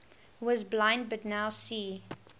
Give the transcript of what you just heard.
was blind but now see